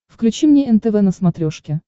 включи мне нтв на смотрешке